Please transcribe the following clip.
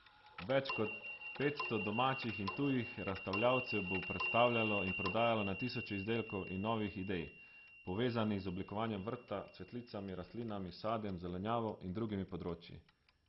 Več kot petsto domačih in tujih razstavljavcev bo predstavljalo in prodajalo na tisoče izdelkov in novih idej, povezanih z oblikovanjem vrta, cvetlicami, rastlinami, sadjem, zelenjavo in drugimi področji.